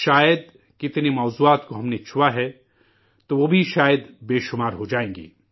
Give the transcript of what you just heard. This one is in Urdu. شاید، کتنے موضوعات پرہم نے بات کی ہے تو وہ بھی شاید بے شمار ہو جائیں گے